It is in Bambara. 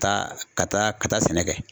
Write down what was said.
Ka ka taa ka taa sɛnɛ kɛ.